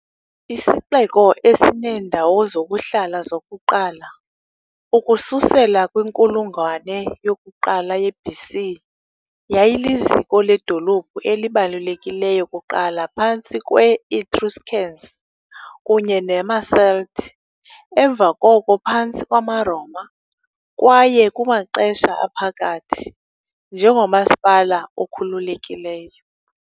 Isixeko, esineendawo zokuhlala zokuqala ukusukela kwinkulungwane yokuqala ye-BC, yayiliziko ledolophu elibalulekileyo kuqala phantsi kwe- Etruscans kunye namaCelt, emva koko phantsi kwamaRoma kwaye, kumaXesha Aphakathi, njengomasipala okhululekileyo .